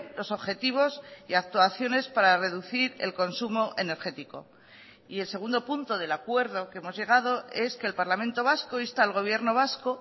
los objetivos y actuaciones para reducir el consumo energético y el segundo punto del acuerdo que hemos llegado es que el parlamento vasco insta al gobierno vasco